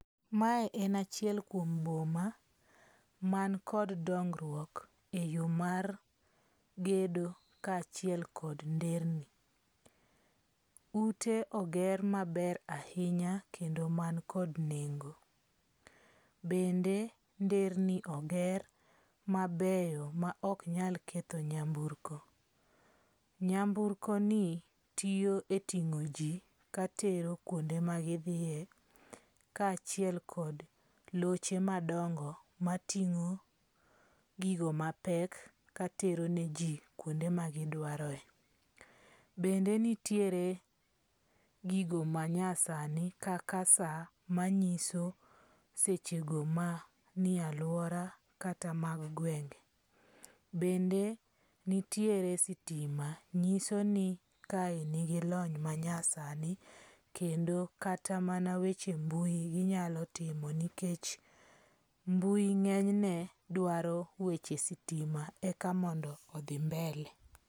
Mae en achiel kuom boma, man kod dongruok e yo mar gedo kaachiel kod nderni. Ute oger maber ahinya kendo man kod nengo. Bende nderni oger mabeyo ma ok nyal ketho nyamburko. Nyamburko ni tiyo e ing'o ji katero kuonde magidhiye kaachiel kod loche madongo mating'o gigo mapek katero ne ji kuonde ma gidwaroe. Bende nitiere gigo manyasani kaka sa manyiso secho go ma nie alwora kata mag gwenge. Bende nitiere sitima nyiso ni kae nigi lony manyasani. Kendo kata mana weche mbui ginyalo timo nikech mbui ng'enyne dwaro weche sitima eka mondo odhi mbele.